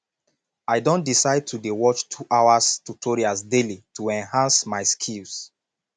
i don decide to dey watch 2 hours tutorials daily to enhance my skills